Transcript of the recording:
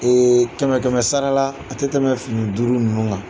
Ee kɛmɛ kɛmɛ sarala, a tɛ tɛmɛ fini duuru ninnu kan.